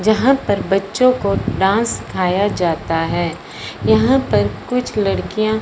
जहां पर बच्चों को डांस सिखाया जाता है यहां पर कुछ लड़कियां--